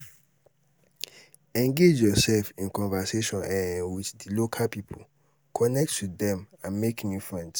engage yourself in conversation um with di local people connect with dem and make new friends